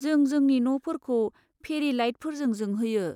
जों जोंनि न'फोरखौ फेरि लाइटफोरजों जोंहोयो।